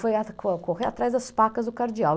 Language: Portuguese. Foi correr atrás das pacas do cardeal.